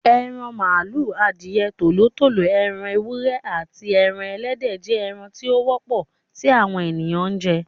Eran màlúù, adìẹ, Tòló tòló, ẹran ewúrẹ́, aàti ẹran Ẹlẹ́dẹ̀ jẹ́ ẹran tí ó wọ́pọ̀ tí àwọn èèyàn ń jẹ.